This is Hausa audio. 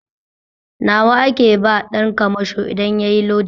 Nawa ake ba ɗan kamasho idan yayi lodi?